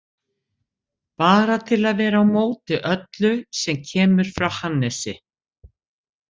Bara til að vera á móti öllu sem kemur frá Hannesi.